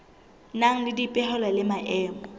nang le dipehelo le maemo